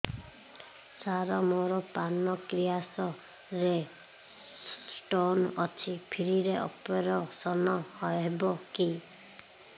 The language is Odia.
ସାର ମୋର ପାନକ୍ରିଆସ ରେ ସ୍ଟୋନ ଅଛି ଫ୍ରି ରେ ଅପେରସନ ହେବ କି